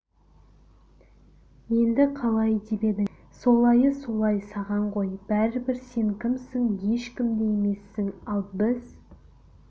енді қалай деп едің солайы солай саған ғой бәрібір сен кімсің ешкім де емессің ал біз